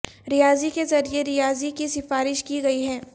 ریاضی کے ذریعے ریاضی کی سفارش کی گئی ہے